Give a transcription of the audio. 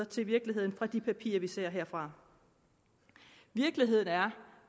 til virkeligheden fra de papirer vi ser herfra virkeligheden er